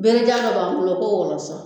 Benikan dɔ b'an bolo ko wɔlɔsɔ